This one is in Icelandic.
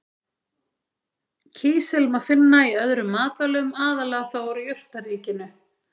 Kísil má finna í öðrum matvælum, aðallega þó úr jurtaríkinu.